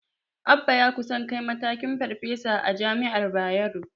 Abba ya kusan kai matakin Farfesa a jami'ar Bayero.